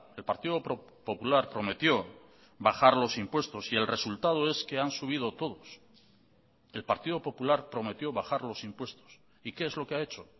el partido popular prometió bajar los impuestos y el resultado es que han subido todos el partido popular prometió bajar los impuestos y qué es lo que ha hecho